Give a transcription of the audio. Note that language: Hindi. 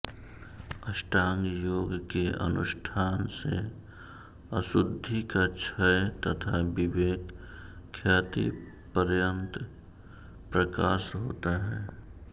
अष्टांग योग के अनुष्ठान से अशुद्धि का क्षय तथा विवेक ख्याति पर्यन्त प्रकाश होता है